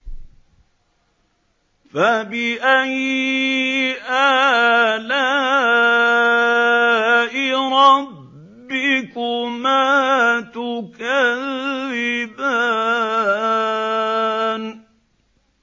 فَبِأَيِّ آلَاءِ رَبِّكُمَا تُكَذِّبَانِ